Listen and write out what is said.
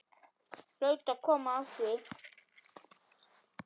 Hlaut að koma að því.